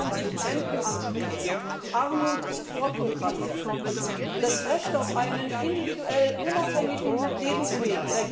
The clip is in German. Es vermindern sich die Rentenansprüche Armut ist vorprogrammiert und das Recht auf einen individuell unabhängigen Lebensweg.